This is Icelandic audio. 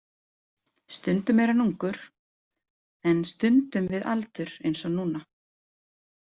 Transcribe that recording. Stundum er hann ungur en stundum við aldur eins og núna.